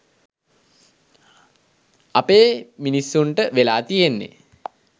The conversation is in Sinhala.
අපේ මිනිස්සුන්ට වෙලා තියෙන්නෙ